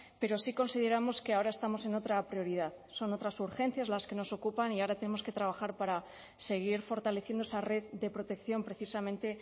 pero sí consideramos que ahora estamos en otra prioridad son otras urgencias las que nos ocupan y ahora tenemos que trabajar para seguir fortaleciendo esa red de protección precisamente